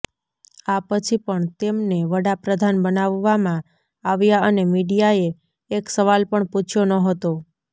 આ પછી પણ તેમને વડાપ્રધાન બનાવવામાં આવ્યા અને મીડિયાએ એક સવાલ પણ પૂછ્યો નહોતો